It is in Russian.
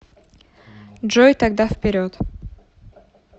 джой тогда вперед